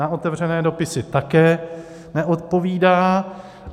Na otevřené dopisy také neodpovídá.